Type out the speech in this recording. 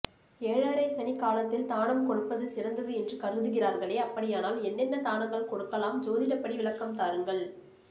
ஏழரை சனி காலத்தில் தானம் கொடுப்பது சிறந்தது என்று கருதுகிறார்களே அப்படியானால் என்னென்ன தானங்கள் கொடுக்கலாம் ஜோதிடப்படி விளக்கம் தாருங்கள்